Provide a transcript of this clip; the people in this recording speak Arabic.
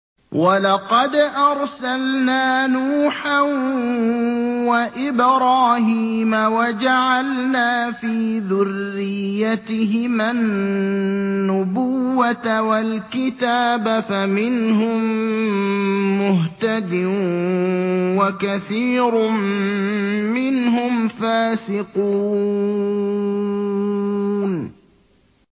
وَلَقَدْ أَرْسَلْنَا نُوحًا وَإِبْرَاهِيمَ وَجَعَلْنَا فِي ذُرِّيَّتِهِمَا النُّبُوَّةَ وَالْكِتَابَ ۖ فَمِنْهُم مُّهْتَدٍ ۖ وَكَثِيرٌ مِّنْهُمْ فَاسِقُونَ